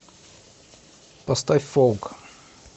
поставь фолк